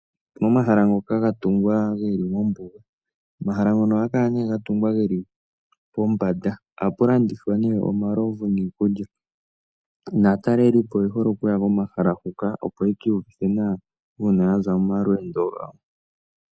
Momahala ngoka ga tungwa geli mombuga. Omahala ngoka oha ga kala ne ga tungwa pombanda, ohapu landithwa he omalovu niikulya. Naatalelilpo oye hole okuya komahala huka, opo yaka iiyuvithe nawa, uuna yaza momalweendo gawo.